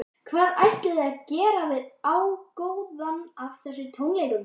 Hvað ætlið þið að gera við ágóðann af þessum tónleikum?